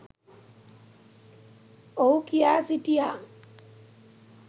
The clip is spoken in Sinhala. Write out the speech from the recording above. ඔහු කියා සිටියා.